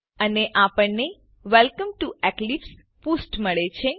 અને આપણને welcome to eclipse પુષ્ઠ મળે છે